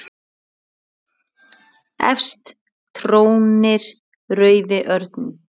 Efst trónir rauði örninn.